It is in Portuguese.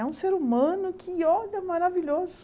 É um ser humano que olha maravilhoso.